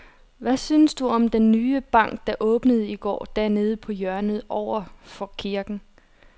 Hvad synes du om den nye bank, der åbnede i går dernede på hjørnet over for kirken?